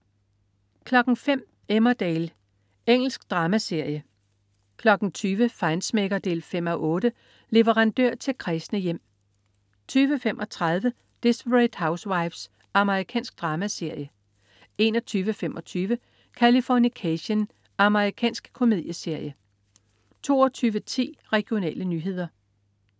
05.00 Emmerdale. Engelsk dramaserie 20.00 Feinschmecker 5:8. Leverandør til kræsne hjem 20.35 Desperate Housewives. Amerikansk dramaserie 21.25 Californication. Amerikansk komedieserie 22.10 Regionale nyheder